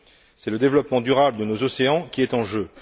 C'est le développement durable de nos océans qui est en jeu.